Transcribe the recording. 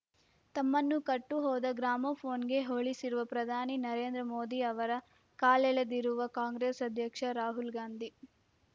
ತಮ್ಮನ್ನು ಕಟ್ಟುಹೋದ ಗ್ರಾಮೋಫೋನ್‌ಗೆ ಹೋಲಿಸಿರುವ ಪ್ರಧಾನಿ ನರೇಂದ್ರ ಮೋದಿ ಅವರ ಕಾಲೆಳೆದಿರುವ ಕಾಂಗ್ರೆಸ್‌ ಅಧ್ಯಕ್ಷ ರಾಹುಲ್‌ ಗಾಂಧಿ